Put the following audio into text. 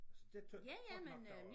Så det tror jeg da godt nok der var